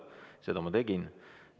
Seda ma ka tegin.